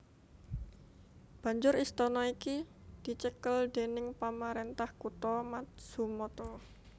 Banjur istana iki dicekel déning pamarentah kutha Matsumoto